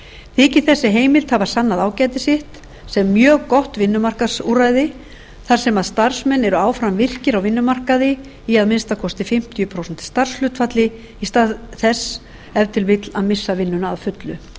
þykir þessi heimild hafa sannað ágæti sitt sem mjög gott vinnumarkaðsúrræði þar sem starfsmenn eru áfram virkir á vinnumarkaði í að minnsta kosti fimmtíu prósent starfshlutfalli í stað þess ef til vill að missa vinnuna að fullu